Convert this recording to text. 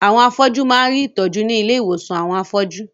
Àwọn afọ́jú máa ń rí ìtọ́jú ní ilé àwọn afọ́jú.